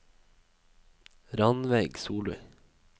Ranveig Solli